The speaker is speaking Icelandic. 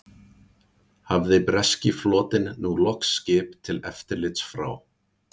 Hafði breski flotinn nú loks skip til eftirlits frá